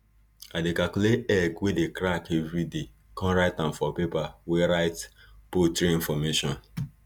i dey calculate egg wey dey crack everiday con write am for paper wey write poultry information